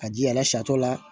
A ji a la sata la